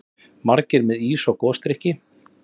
Margir með ís og gosdrykki.